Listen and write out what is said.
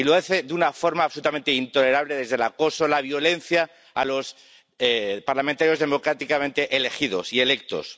Y lo hace de una forma absolutamente intolerable desde el acoso y la violencia a los parlamentarios democráticamente elegidos y electos.